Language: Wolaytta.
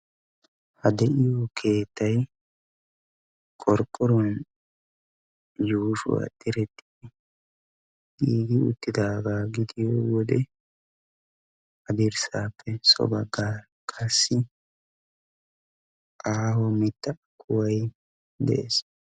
ha de'iyo keettay qorqqoruwan yuushuwa diretti yuuyi utaagaa gidiyo wode ha dirssaappe so bagaara qassi aaho mitaa kuway de'ees.